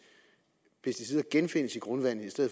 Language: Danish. pesticider genfindes i grundvandet